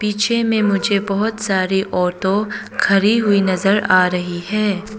पीछे में मुझे बहुत सारी ऑटो खड़ी हुई नजर आ रही है।